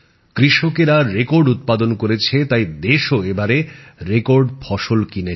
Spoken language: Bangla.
কৃষকেরা রেকর্ড উৎপাদন করেছে তাই দেশও এবারে রেকর্ড ফসল কিনেছে